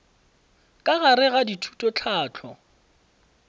ka gare ga thuto tlhahlo